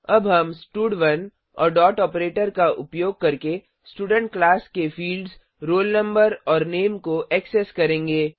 अब हम स्टड1 और डॉट आपरेटर का उपयोग करके स्टूडेंट क्लास के फिल्ड्स roll no और नामे को ऐक्सेस करेंगे